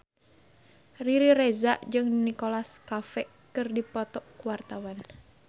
Riri Reza jeung Nicholas Cafe keur dipoto ku wartawan